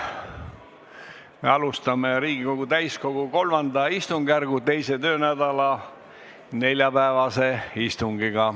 Me alustame Riigikogu täiskogu III istungjärgu 2. töönädala neljapäevast istungit.